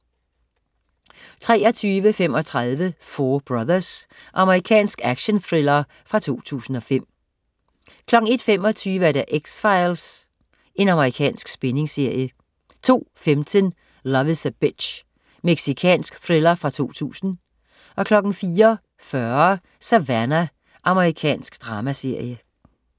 23.35 Four Brothers. Amerikansk actionthriller fra 2005 01.25 X-Files. Amerikansk spændingsserie 02.15 Love is a Bitch. Mexicansk thriller fra 2000 04.40 Savannah. Amerikansk dramaserie